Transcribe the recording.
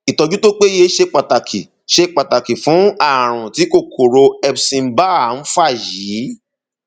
ìtọjú tó péye ṣe pàtàkì ṣe pàtàkì fún ààrùn tí kòkòrò epstein barr ń fà yìí